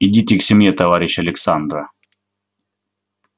идите к семье товарищ александра